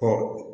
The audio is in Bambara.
Ka